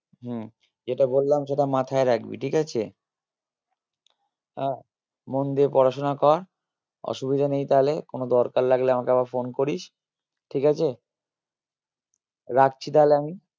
হম যেটা বললাম সেটা মাথায় রাখবি ঠিক আছে? আহ মন দিয়ে পড়াশোনা কর অসুবিধা নেই তালে কোনো দরকার লাগলে আমাকে আবার phone করিস ঠিক আছে? রাখছি তালে আমি?